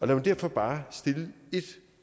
mig derfor bare stille ét